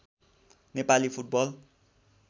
Nepali football